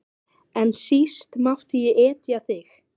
En síst mátti ég etja þér.